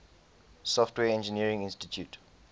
software engineering institute